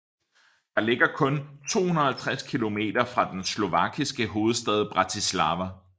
Den ligger kun 250 kilometer fra den slovakiske hovedstad Bratislava